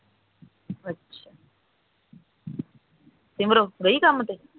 ਅੱਛਾ ਸੀਮਰੋ ਗਈ ਕੰਮ ਤੇ